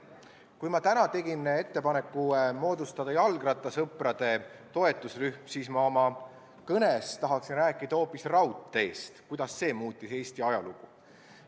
Kuigi ma tegin täna ettepaneku moodustada jalgrattasõprade toetusrühm, tahaksin ma oma kõnes rääkida hoopis raudteest ja sellest, kuidas see muutis Eesti ajalugu.